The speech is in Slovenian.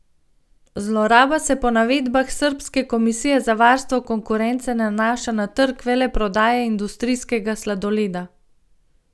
Zloraba se po navedbah srbske komisije za varstvo konkurence nanaša na trg veleprodaje industrijskega sladoleda.